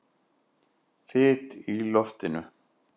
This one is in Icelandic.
Þyt í loftinu?